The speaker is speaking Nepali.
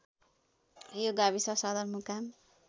यो गाविस सदरमुकाम